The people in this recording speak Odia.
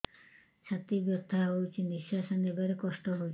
ଛାତି ବଥା ହଉଚି ନିଶ୍ୱାସ ନେବାରେ କଷ୍ଟ ହଉଚି